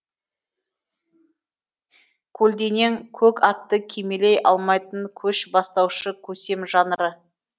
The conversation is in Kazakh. көлденең көк атты кимелей алмайтын көш бастаушы көсем жанры